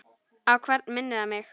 Á hvern minnir hann mig?